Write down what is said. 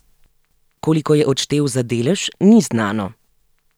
Koliko je odštel za delež, ni znano.